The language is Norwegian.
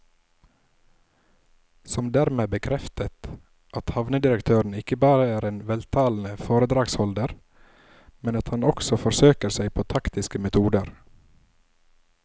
Som dermed bekreftet at havnedirektøren ikke bare er en veltalende foredragsholder, men at han også forsøker seg på taktiske metoder.